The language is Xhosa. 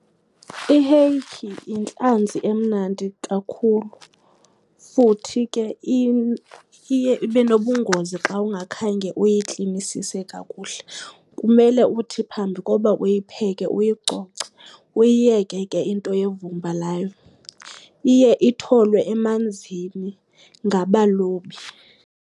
I-hake yintlanzi emnandi kakhulu, futhi ke iye ibe nobungozi xa ungakhange uyiklinisise kakuhle. Kumele uthi phambi koba uyipheke uyicoce, uyiyeke ke into yevumba layo. Iye itholwe emanzini ngabalobi.